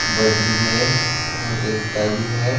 बजरी भी है और रेता भी है।